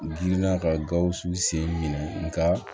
Girinna ka gawusu sen minɛ nka